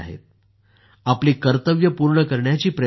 आपली कर्तव्ये पूर्ण करण्याची प्रेरणा देतात